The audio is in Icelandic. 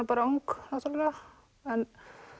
ung náttúrulega en